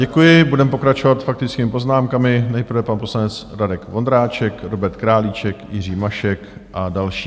Děkuji, budeme pokračovat faktickými poznámkami, nejprve pan poslanec Radek Vondráček, Robert Králíček, Jiří Mašek a další.